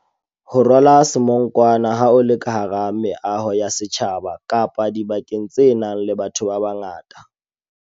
Ho rwala semonkwana ha o le ka hara meaho ya setjhaba kapa dibakeng tse nang le batho babangata.